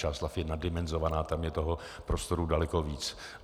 Čáslav je naddimenzovaná, tam je toho prostoru daleko víc.